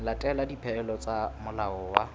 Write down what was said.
latela dipehelo tsa molao wa